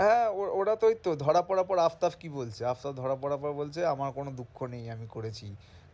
হ্যাঁ ওরা উহ ওরা ওই তো ধরা পড়ার পর আফতাফ কি বলছে? আফতাফ ধরা পড়ার পর বলছে আমার কোনো দুঃখ নেই আমি করেছি